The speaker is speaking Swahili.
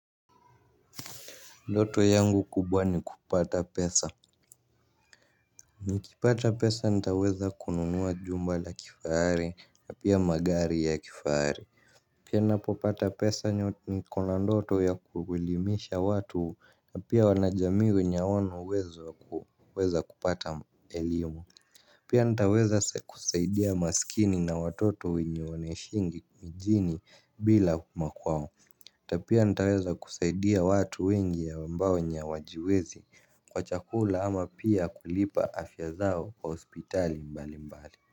Ndoto yangu kubwa ni kupata pesa. Nikipata pesa nitaweza kununua jumbala kifahari na pia magari ya kifahari. Pia napopata pesa ni kona ndoto ya kuelimisha watu na pia wanajamii wenye hawana uwezo wa kupata elimu. Pia nitaweza kusaidia masikini na watoto wenye wanaishingi mijini bila makwao hata pia nitaweza kusaidia watu wengi ambao wenye hawajiwezi kwa chakula ama pia kulipa afya zao kwa hospitali mbali mbali.